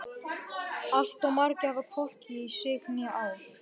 Allt of margir hafa hvorki í sig né á.